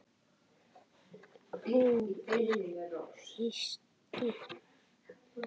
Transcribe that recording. Hún í fiski.